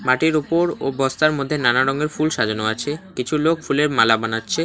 খাটের উপর ও বস্তার মধ্যে নানা রঙের ফুল সাজানো আছে কিছু লোক ফুলের মালা বানাচ্ছে।